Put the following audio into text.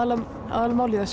aðalmálið að